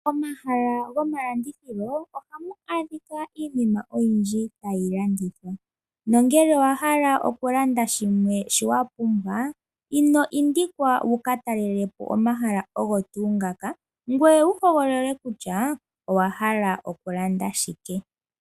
Momahala gomalandithilo ohamu adhika iinima oyindji tayi landithwa, nongele owa hala okulanda shimwe shoka wa pumbwa, ino indikwa oku ka talela po omahala ogo tuu ngaka , ngoye wu hogolole kutya owa hala okulanda shike.